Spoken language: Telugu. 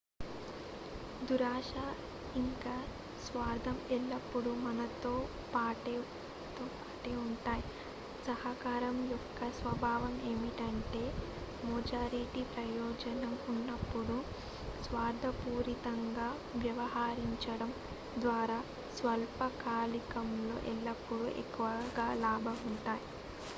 దురాశ ఇంకా స్వార్థం ఎల్లప్పుడూ మనతో పాటే ఉంటాయి సహకారం యొక్క స్వభావం ఏమిటంటే మెజారిటీ ప్రయోజనం ఉన్నప్పుడు స్వార్థపూరితంగా వ్యవహరించడం ద్వారా స్వల్పకాలికంలో ఎల్లప్పుడూ ఎక్కువ లాభం ఉంటుంది